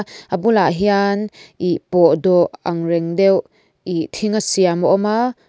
a bulah hian ih pawh dawh ang reng deuh ih thing a siam a awm a.